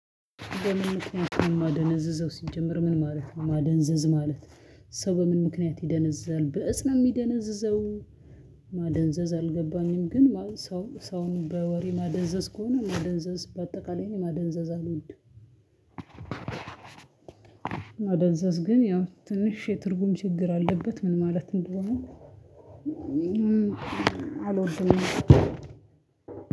በምን ምክንያት ነው ማደነዝዘው ሲጀመር ምን ማለት ነው ማደንዘዝ ማለት? ሰው በምን ምክንያት ይደነዝዛል ብእፅ ነው የሚደነዝዘው? ማደንዘዝ አልገባኝም። ግን ሰው ሰውን በወሬ ማደንዘዝ ከሆነ ማደንዘዝ በአጠቃላይ ማደንዘዝ አልወድም። ማደንዘዝ ግን ያው ትንሽ ትርጉም ችግር አለበት ምን ማለት እንደሆነ? አልወድም።